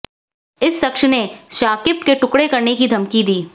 इस शख्स ने शाकिब के टुकड़े करने की धमकी दी